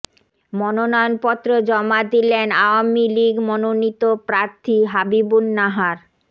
মনোনয়নপত্র জমা দিলেন আওয়ামী লীগ মনোনীত প্রার্থী হাবিবুন নাহার